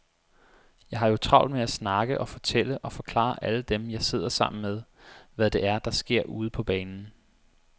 Jeg har jo travlt med at snakke og fortælle og forklare alle dem, jeg sidder sammen med, hvad det er, der sker ude på banen.